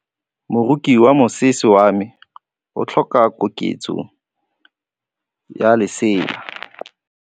Moroki wa mosese wa me o tlhoka koketsô ya lesela.